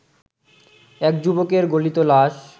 এক যুবকের গলিত লাশ